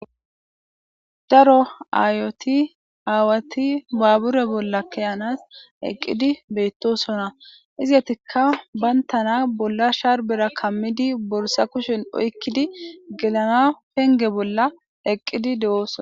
Daro awwati aayoti baabure bolla ke'anas eqqidi beetosona izzetika bantana bolla shsharben kamidi borsa kushshen oyqqidi gelanawu penge bolla eqqidi dee'ssona